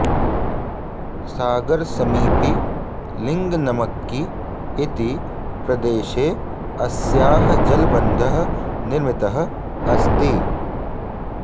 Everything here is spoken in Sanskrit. सागरसमीपि लिङ्गनमक्कि इति प्रदेशे अस्याः जलबन्धः निर्मितः अस्ति